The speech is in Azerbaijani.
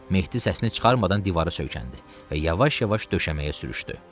Mehdi səsini çıxarmadan divara söykəndi və yavaş-yavaş döşəməyə sürüşdü.